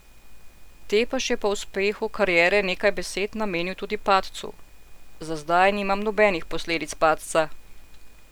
Tepeš je po uspehu kariere nekaj besed namenil tudi padcu: "Za zdaj nimam nobenih posledic padca.